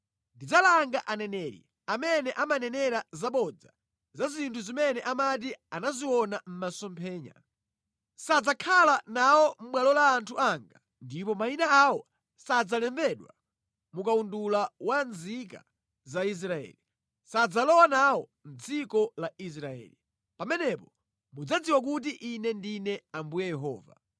Ndidzalanga aneneri amene amanenera zabodza za zinthu zimene amati anaziona mʼmasomphenya. Sadzakhala nawo mʼbwalo la anthu anga ndipo mayina awo sadzalembedwa mu kawundula wa nzika za Israeli. Sadzalowa nawo mʼdziko la Israeli. Pamenepo mudzadziwa kuti Ine ndine Ambuye Yehova.